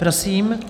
Prosím.